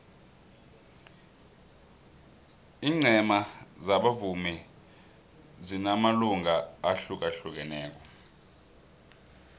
ingcema zabavumi zinamalunga ahlukahlukaneko